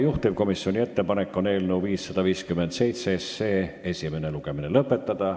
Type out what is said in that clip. Juhtivkomisjoni ettepanek on eelnõu 557 esimene lugemine lõpetada.